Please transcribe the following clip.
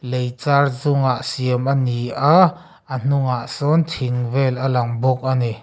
leichar chungah siam a ni a a hnungah sawn thing vel a lang bawk a ni.